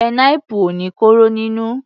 Pineapple ò ní kóró nínú.